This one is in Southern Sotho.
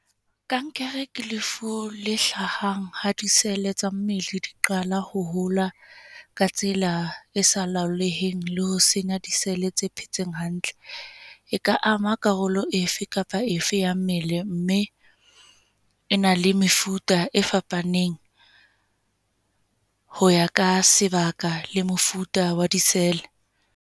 Kankere ke lefu le hlahang ha di-cell-e tsa mmele di qala ho hola ka tsela e sa laholeheng, le ho senya di-cell-e tse phetseng hantle. E ka ama karolo efe kapa efe ya mmele mme, e na le mefuta e fapaneng ho ya ka sebaka le mefuta wa di-cell.